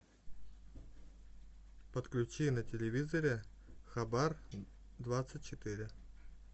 подключи на телевизоре хабар двадцать четыре